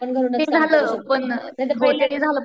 ते झालं पण